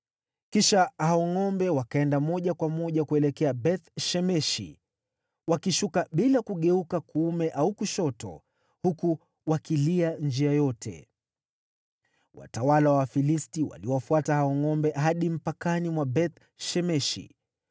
Kisha hao ngʼombe wakaenda moja kwa moja kuelekea Beth-Shemeshi, wakishuka bila kugeuka kuume au kushoto, huku wakilia njia yote. Watawala wa Wafilisti waliwafuata hao ngʼombe hadi mpakani mwa Beth-Shemeshi.